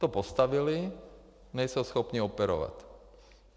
To postavili, nejsou schopni operovat.